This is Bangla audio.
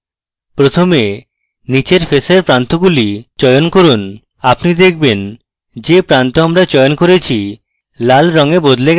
প্রথমে নীচের ফেসের প্রান্তগুলি চয়ন করুন আপনি দেখবেন যে প্রান্ত আমরা চয়ন করেছি লাল রঙে বদলে যায়